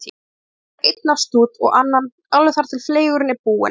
Svo fæ ég mér einn af stút, og annan, alveg þar til fleygurinn er búinn.